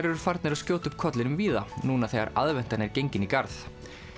eru farnir að skjóta upp kollinum víða núna þegar aðventan er gengin í garð